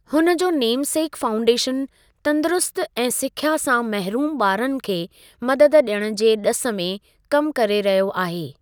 हुन जो नेमसेक फाउंडेशनु तंदुरुस्ती ऐं सिख्या सां महरूम ॿारनि खे मददु ॾियण जी ॾिस में कमु करे रहियो आहे।